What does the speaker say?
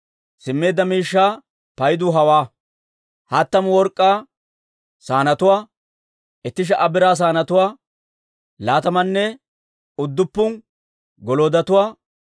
Simmeedda miishshaa paydu hawaa: hattamu work'k'aa saanetuwaa, itti sha"a biraa saanetuwaa, laatamanne udduppun goloodotuwaa,